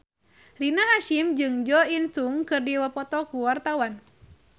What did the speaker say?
Rina Hasyim jeung Jo In Sung keur dipoto ku wartawan